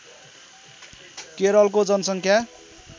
केरलको जनसङ्ख्या